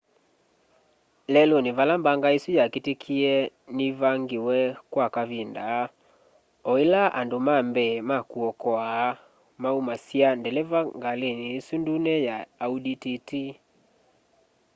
leluni vala mbanga isu yakitikie nivangiwe kwa kavinda oila andu ma mbee ma kuokoa maumasya ndeleva kgalini isu ndune ya audi tt